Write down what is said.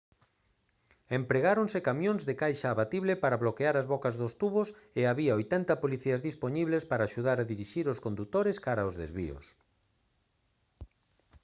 empregáronse camións de caixa abatible para bloquear as bocas dos tubos e había 80 policías dispoñibles para axudar a dirixir os condutores cara os desvíos